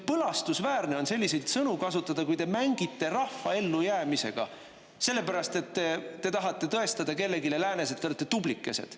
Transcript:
Põlastusväärne on selliseid sõnu kasutada, kui te mängite rahva ellujäämisega, sellepärast et te tahate tõestada kellelegi läänes, et te olete tublikesed.